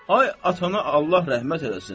Ay atana Allah rəhmət eləsin.